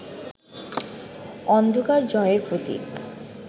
অন্ধকার জয়ের প্রতীক